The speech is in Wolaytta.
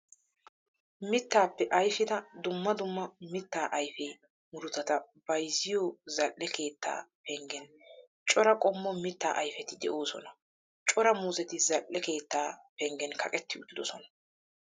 Mittappe ayifida dumma dumma mitta ayife murutata bayizziyoo zal'e keetta penggen cora qommo mittaa ayifeti de'oosona. Cora muuzzeti zal''e keettaa penggen kaqetti uttidosona.